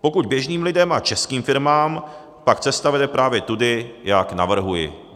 Pokud běžným lidem a českým firmám, pak cesta vede právě tudy, jak navrhuji.